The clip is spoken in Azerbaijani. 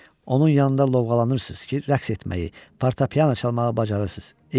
Onun yanında lovğalanırsız ki, rəqs etməyi, portapiano çalmağı bacarırsız.